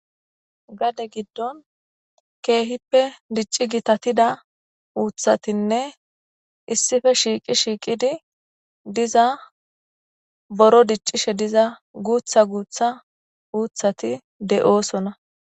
Gade giddon keehippe dicci gitatida uuthatinne issipe shiiqi shiiqidi diza boro diccishe diza guutha guutha uuthati de'oosona.